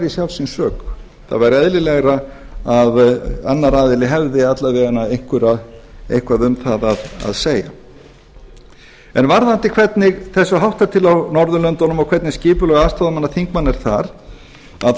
sjálfs síns sök það væri eðlilegra að annar aðili hefði alla vega eitthvað um það að segja varðandi hvernig þessu háttar til á norðurlöndunum og hvernig skipulag aðstoðarmanna þingmanna er